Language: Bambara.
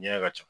Ɲɛ ka ca